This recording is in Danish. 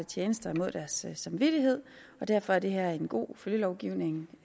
tjenester imod deres samvittighed og derfor er det her er en god følgelovgivning